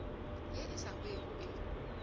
ye e sa hwego e